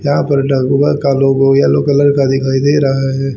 यहां पर का लोगो येलो कलर का दिखाई दे रहा है।